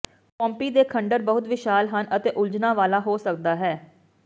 Pompeii ਦੇ ਖੰਡਰ ਬਹੁਤ ਵਿਸ਼ਾਲ ਹਨ ਅਤੇ ਉਲਝਣਾਂ ਵਾਲਾ ਹੋ ਸਕਦਾ ਹੈ